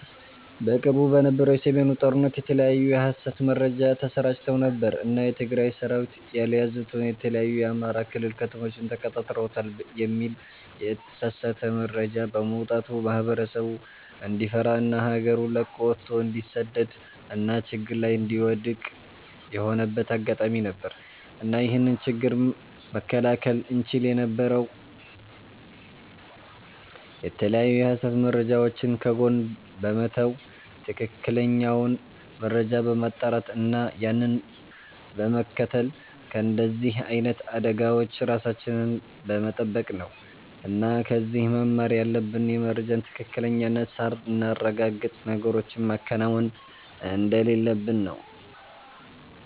በቅርቡ በነበረው የ ሰሜኑ ጦርነት የተለያዩ የ ሀሰት መረጃ ተሰራጭተው ነበር እና የ ትግራይ ሰራዊት ያልያዙትን የተለያዩ የ አማራ ክልል ከተሞችን ተቆጣጥረውታል የሚል የተሳሳተ መረጃ በመውጣቱ ማህበረሰቡ እንዲፈራ እና ሀገሩን ለቆ ወቶ እንዲሰደድ እና ችግር ላይ እንዲወድክቅ የሆነበት አጋጣሚ ነበር። እና ይህንን ችግር መከላከል እንቺል የነበረው የተለያዩ የሀሰት መረጃወችን ከጎን በመተው ትክክለኛውን መረጃ በማጣራት እና ያንን በመከተል ከንደዚህ አይነት አደጋወች ራሳችንን በመተበቅ ነው እና ከዚህ መማር ያለብን የመረጃን ትክክለኝነት ሳናረጋግጥ ነገሮችን ማከናወን እንደሌለብን ነው